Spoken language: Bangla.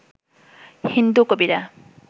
হিন্দু কবিরা